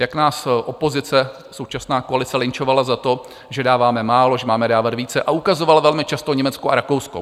Jak nás opozice, současná koalice, lynčovala za to, že dáváme málo, že máme dávat více, a ukazovala velmi často Německo a Rakousko?